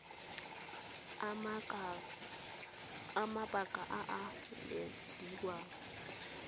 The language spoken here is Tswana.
a mabaka a a ilediwang